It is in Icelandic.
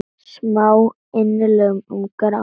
Smá innlegg um grát.